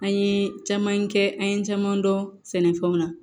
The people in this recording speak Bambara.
An ye caman kɛ an ye caman dɔn sɛnɛfɛnw na